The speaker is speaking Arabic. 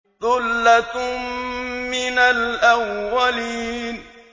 ثُلَّةٌ مِّنَ الْأَوَّلِينَ